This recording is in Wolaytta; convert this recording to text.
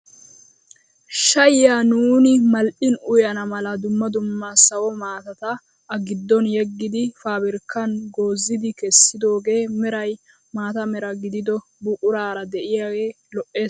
Shayiyaa nuuni mal"in uyana mala dumma dumma sawo maatata a giddon yeggidi pabirkkaan goozidi kessidogee meray maata mera gidido buquraara de'iyaage lo"ees.